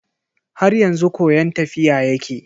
Har yanzu koyon tafiya yake.